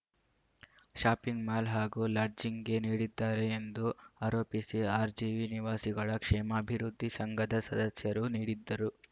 shopping mall ಹಾಗೂ ಲಾಡ್ಜಿಂಗ್‌ಗೆ ನೀಡಿದ್ದಾರೆ ಎಂದು ಆರೋಪಿಸಿ ಆರ್‌ಜಿವಿ ನಿವಾಸಿಗಳ ಕ್ಷೇಮಾಭಿವೃದ್ಧಿ ಸಂಘದ ಸದಸ್ಯರು ನೀಡಿದ್ದರು